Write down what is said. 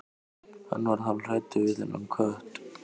Hann varð hálfhræddur við þennan kött.